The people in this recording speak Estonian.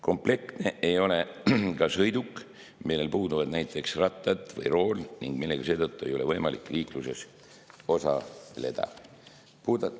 Komplektne ei ole ka sõiduk, millel puuduvad näiteks rattad või rool ning millega seetõttu ei ole võimalik liikluses osaleda.